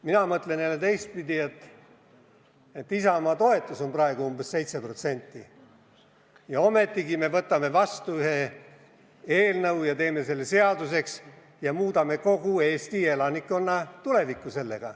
Mina mõtlen teistpidi: Isamaa toetus on umbes 7% ja ometigi me kiidame heaks nende soovitud eelnõu ja teeme selle seaduseks, muutes sellega kogu Eesti elanikkonna tulevikku.